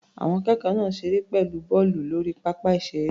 Àwọn akẹ́kọ̀ọ́ náà ṣeré pẹ̀lú bọ́ọ̀lù lórí pápá ìṣeré.